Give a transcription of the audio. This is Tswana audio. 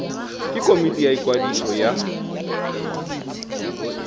ke komiti ya ikwadiso ya